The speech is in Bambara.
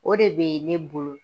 O de bɛ ne bolo .